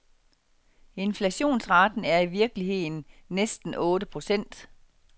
Inflationsraten er i virkeligheden næsten otte procent.